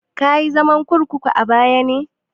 Kayi zaman kurkuku a baya na?